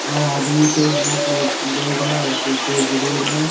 और आदमी के हाथ में बेग है और पीछे ग्रिल है।